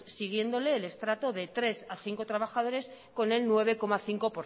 siguiéndole el estrato de tres a cinco trabajadores con el nueve cinco